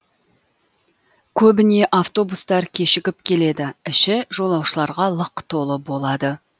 көбіне автобустар кешігіп келеді іші жолаушыларға лық толы болады